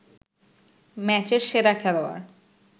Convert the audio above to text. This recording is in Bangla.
ম্যাচের সেরা খেলোয়াড়